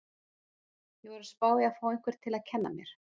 Ég var að spá í að fá einhvern til að kenna mér.